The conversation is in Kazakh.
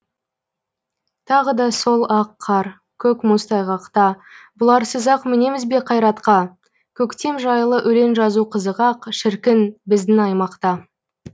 тағы да сол ақ қар көк мұз тайғақта бұларсыз ақ мінеміз бе қайратқа көктем жайлы өлең жазу қызық ақ шіркін біздің аймақта